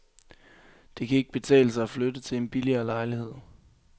Det kan ikke betale sig at flytte til en billigere lejlighed.